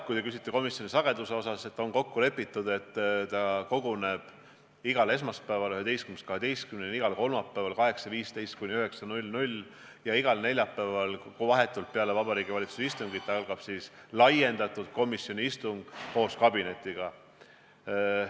Kui te küsite komisjoni istungite sageduse kohta, siis on kokku lepitud, et komisjon koguneb igal esmaspäeval kell 11–12, igal kolmapäeval 8.15–9.00 ja igal neljapäeval vahetult peale Vabariigi Valitsuse istungit, kui toimub laiendatud komisjoni istung koos kabinetiga.